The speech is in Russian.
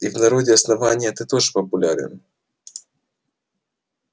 и в народе основания ты тоже популярен